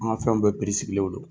An ka fɛnw bɛɛ piri sigilenw don